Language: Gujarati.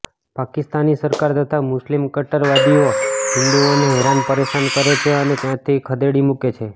પાકિસ્તાની સરકાર તથા મુસ્લિમ કટ્ટરવાદીઓ હિન્દુઓને હેરાન પરેશાન કરે છે અને ત્યાંથી ખદેડી મુકે છે